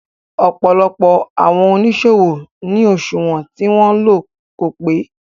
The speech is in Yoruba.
Ọ̀pọ̀lọpọ̀ àwọn oníṣòwò ní òṣùwọ̀n tí wọn ń lò kò pé.